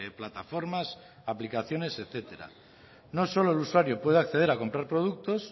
plataformas aplicaciones etcétera no solo el usuario puede acceder a comprar productos